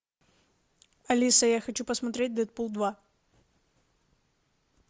алиса я хочу посмотреть дэдпул два